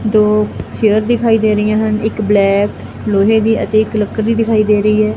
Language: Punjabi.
ਦੋ ਚੇਅਰ ਦਿਖਾਈ ਦੇ ਰਾਹੀਆਂ ਹਨ ਇੱਕ ਬਲੈਕ ਲੋਹੇ ਦੀ ਅਤੇ ਇੱਕ ਲੱਕੜ ਦੀ ਦਿਖਾਈ ਦੇ ਰਹੀ ਐ।